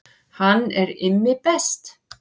Hann er Immi best.